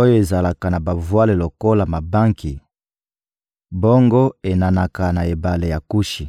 oyo ezalaka na bavwale lokola mabanki, bongo enanaka na ebale ya Kushi!